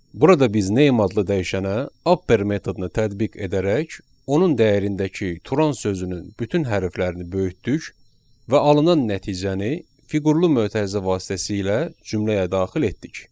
Burada biz name adlı dəyişənə upper metodunu tətbiq edərək, onun dəyərindəki turon sözünün bütün hərflərini böyütdük və alınan nəticəni fiqurlu mötərizə vasitəsilə cümləyə daxil etdik.